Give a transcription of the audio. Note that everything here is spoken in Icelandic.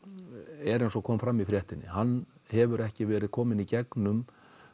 er eins og kom fram í fréttinni hann hefur ekki verið kominn í gegnum